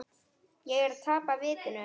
Er ég að tapa vitinu?